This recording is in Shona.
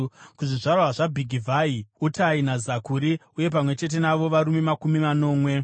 kuzvizvarwa zvaBhigivhai, Utai naZakuri, uye pamwe chete navo varume makumi manomwe.